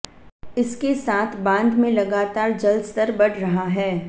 इसके साथ बांध में लगातार जल स्तर बढ़ रहा है